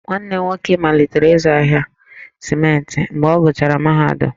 Nwanne m nwoke malitere ịzụ ahịa simenti mgbe ọ gụchara mahadum,